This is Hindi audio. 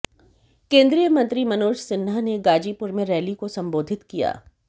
केंद्रीय मंत्री मनोज सिन्हा ने गाजीपुर में रैली को संबोधित किया